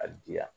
A diya